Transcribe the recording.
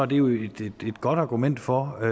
det jo et godt argument for